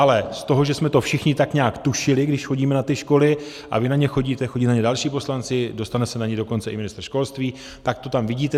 Ale z toho, že jsme to všichni tak nějak tušili, když chodíme na ty školy - a vy na ně chodíte, chodí na ně další poslanci, dostane se na ně dokonce i ministr školství, tak to tam vidíte.